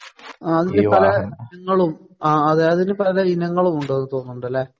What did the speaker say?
ആ അതിന് പലേ ഇനങ്ങളും അതിന് പലേ ഇനങ്ങളും ഉണ്ടെന്ന് തോന്നുന്നുണ്ട് അല്ലേ?